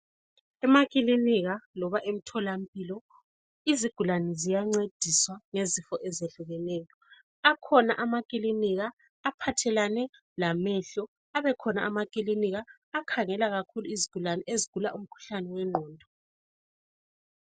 Emakilinika loba emtholampilo, izigulane ziyancediswa ngezifo ezehlukeneyo. Akhona amakilinika aphathelane lamehlo abekhona amakilinika akhangela kakhulu izigulane ezigula umkhuhlane wengqondo.